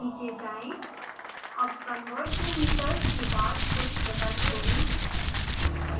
नीचे जाएँ अब converttometers के बाद कुछ जगह छोड़ें